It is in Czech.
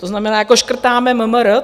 To znamená, jako škrtáme MMR?